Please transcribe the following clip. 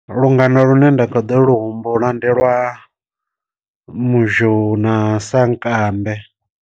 Lungano lune nda kha ḓo lu humbula ndi lwa muzhou na sankambe.